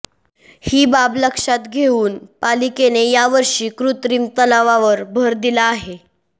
ही बाब लक्षात घेऊन पालिकेने यावर्षी कृत्रिम तलावावर भर दिला आहे